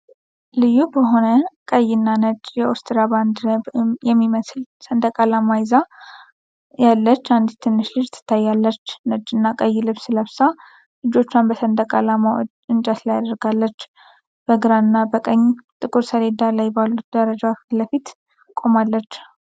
ልዩ በሆነ ቀይና ነጭ የኦስትሪያ ባንዲራ የሚመስል ሰንደቅ ዓላማ ይዛ ያለች አንዲት ትንሽ ልጅ ትታያለች። ነጭና ቀይ ልብስ ለብሳ፣ እጆቿን በሰንደቅ ዓላማው እንጨት ላይ አድርጋለች። በግራና በቀኝ ጥቁር ሰሌዳ ላይ ባሉት ደረጃዎች ፊት ለፊት ቆማለች።